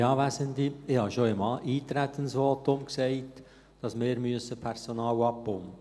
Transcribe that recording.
Ich habe schon im Eintretensvotum gesagt, dass wir Personal abbauen müssen.